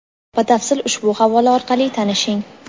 Batafsil ushbu havola orqali tanishing.